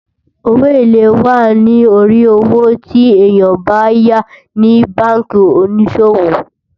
owó élè wà nì orí owó tí èyán bá yá ní bánkì onísòwò